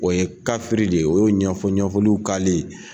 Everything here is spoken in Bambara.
O ye kafiri de o ye ɲɛfɔ ɲɛfɔliw kale.